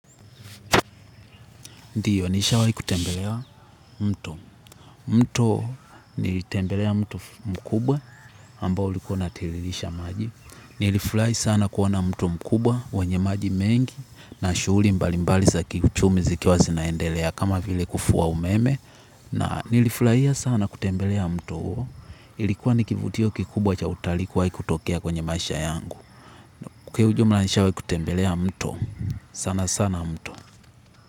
Ndiyo, nishawahi kutembelea mto. Mto nilitembelea mto mkubwa ambao ulikuwa unatiririsha maji. Nilifurahi sana kuona mto mkubwa wenye maji mengi na shughuli mbalimbali za kiuchumi zikiwa zinaendelea kama vile kufua umeme. Na nilifurahia sana kutembelea mto huo. Ilikuwa ni kivutio kikubwa cha utalii kuwahi kutokea kwenye maisha yangu. Kwa hiyo ujumla nishawahi kutembelea mto. Sana sana mto.